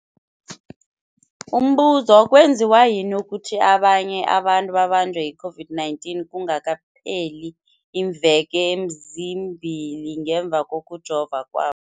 Umbuzo, kwenziwa yini ukuthi abanye abantu babanjwe yi-COVID-19 kungakapheli iimveke ezimbili ngemva kokujova kwa